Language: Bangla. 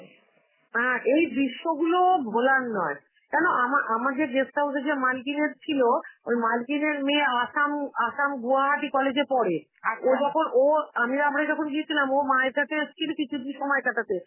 অ্যাঁ এই দৃশ্যগুলো ভোলার নয়, কেনো আমা~ আমার যে guest house এর যে মালকিনের ছিল, ওই মালকিনের মেয়ে আসাম আসাম গুয়াহাটি college এ পড়ে, আর ও যখন, ওর আমি~ আমরা যখন গিয়েছিলাম, ও মায়ের কাছে এসেছিল কিছুদি~ সময় কাটাতে.